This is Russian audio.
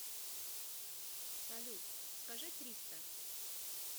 салют скажи триста